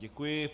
Děkuji.